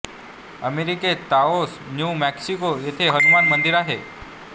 अमेरिकेत Taos New Mexico येथे हनुमान मंदिर आहे